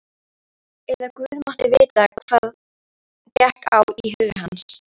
Eða Guð mátti vita hvað gekk á í huga hans.